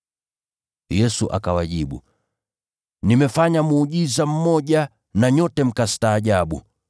Yesu akawajibu, “Nimefanya muujiza mmoja na nyote mkastaajabu.